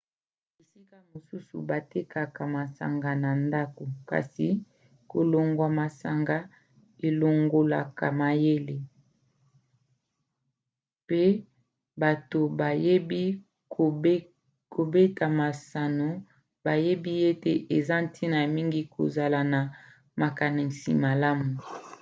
bisika mosusu batekaka masanga na ndako. kasi kolangwa masanga elongolaka mayele pe bato bayebi kobeta masano bayebi ete eza ntina mingi kozala na makanisi malamu